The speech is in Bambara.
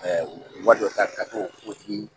dɔ ka k'o ti